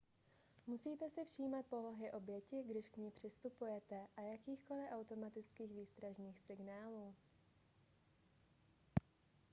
musíte si všímat polohy oběti když k ní přistupujete a jakýchkoli automatických výstražných signálů